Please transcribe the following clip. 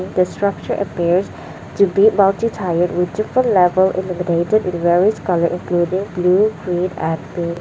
this structure appears to be multi tired with different level illuminated colour including blue green and pink.